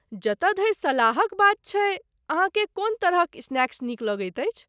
जतय धरि सलाहक बात छैक, अहाँकेँ कोन तरहक स्नैक्स नीक लगैत अछि?